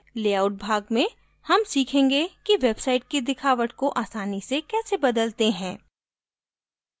layout भाग में हम सीखेंगे कि website की दिखावट को आसानी से कैसे बदलते हैं